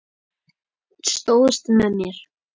Stóðst með mér.